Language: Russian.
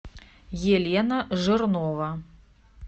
елена жирнова